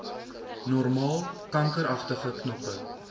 normaal kankeragtige knoppe